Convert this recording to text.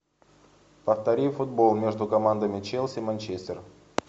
повтори футбол между командами челси манчестер